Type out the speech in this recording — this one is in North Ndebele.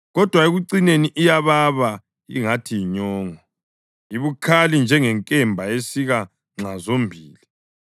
kodwa ekucineni iyababa ingathi yinyongo, ibukhali njengenkemba esika nxa zombili.